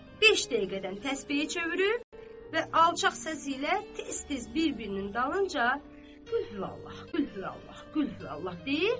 Beş dəqiqədən təsbehi çevirib və alçaq səsi ilə tez-tez bir-birinin dalınca Qulhuvallah, Qulhuvallah, Qulhuvallah deyib.